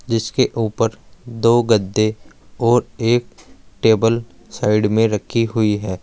जिसके ऊपर दो गद्दे और एक टेबल साइड में रखी हुई है।